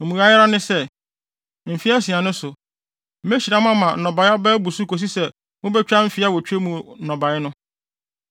Mmuae ara ne sɛ, mfe asia no so, mehyira mo ama nnɔbae aba abu so kosi sɛ mubetwa mfe awotwe mu nnɔbae no.